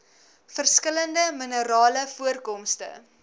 verskillende minerale voorkomste